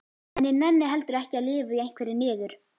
En ég nenni heldur ekki að lifa í einhverri niður